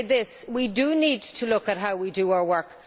would say this we do need to look at how we do our work.